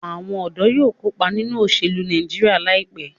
Awon ọdọ yóò kopa ninu oselu Nàìjíríà laipe